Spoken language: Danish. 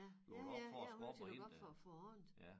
Ja ja ja ja nødt til at lukke op for for andet